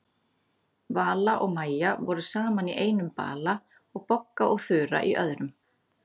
Vala og Maja voru saman í einum bala og Bogga og Þura í öðrum.